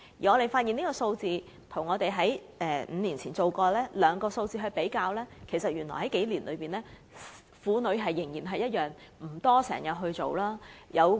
我們把所得結果與5年前所得數字作出比較，結果發現在這數年間，婦女仍然沒有定時進行婦科檢查。